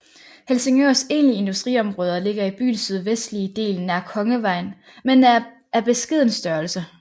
Helsingørs egentlige industriområder ligger i byens sydvestlige del nær Kongevejen men er af beskeden størrelse